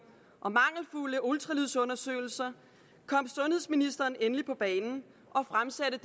og mangelfulde ultralydsundersøgelser kom sundhedsministeren endelig på banen og fremsatte